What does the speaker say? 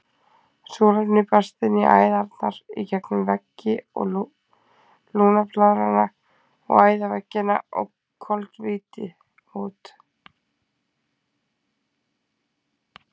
Súrefni berst inn í æðarnar í gegnum veggi lungnablaðranna og æðaveggina og koltvíildi út.